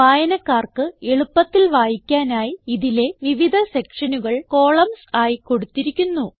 വായനക്കാർക്ക് എളുപ്പത്തിൽ വായിക്കാനായി ഇതിലെ വിവിധ സെക്ഷനുകൾ കോളംൻസ് ആയി കൊടുത്തിരിക്കുന്നു